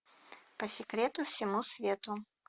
по секрету всему свету